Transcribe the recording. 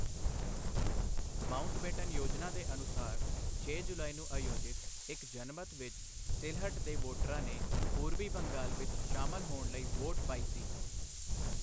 Mountbatten ਯੋਜਨਾ ਦੇ ਅਨੁਸਾਰ, ਛੇ ਜੁਲਾਈ ਨੂੰ ਆਯੋਜਿਤ ਇੱਕ ਜਨਮਤ ਵਿੱਚ ਸਿਲਹਟ ਦੇ ਵੋਟਰਾਂ ਨੇ ਪੂਰਬੀ ਬੰਗਾਲ ਵਿੱਚ ਸ਼ਾਮਲ ਹੋਣ ਲਈ ਵੋਟ ਪਾਈ ਸੀ।